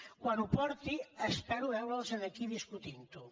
quan ho porti espero veure’ls aquí discutint ho